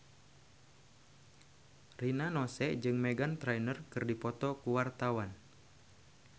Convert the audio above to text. Rina Nose jeung Meghan Trainor keur dipoto ku wartawan